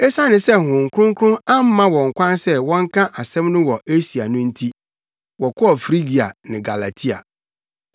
Esiane sɛ Honhom Kronkron amma wɔn kwan sɛ wɔnka asɛm no wɔ Asia no nti, wɔkɔɔ Frigia ne Galatia.